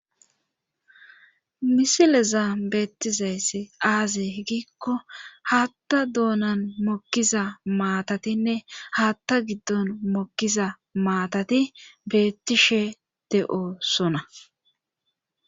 Misilezan beettizayssi aaze giikko haatta doonan mokkiza maatatinne haatta giddon mokkiza maatati beettishe de7oosona.